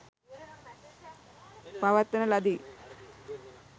පවත්වන ලදී.